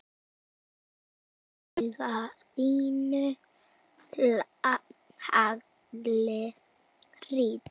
Af auga þínu haglið hrýtur.